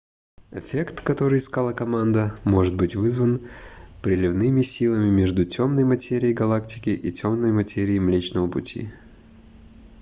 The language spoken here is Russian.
эффект который искала команда может быть вызван приливными силами между тёмной материей галактики и тёмной материей млечного пути